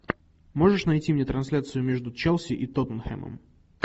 можешь найти мне трансляцию между челси и тоттенхэмом